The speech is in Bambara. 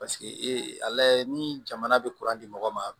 Paseke ee a lajɛ ni jamana bɛ di mɔgɔ ma